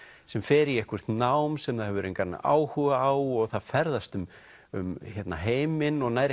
sem fer í eitthvert nám sem það hefur engan áhuga á og það ferðast um um heiminn og nær